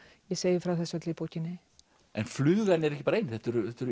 ég segi frá þessu öllu í bókinni en flugan er ekki bara ein þetta eru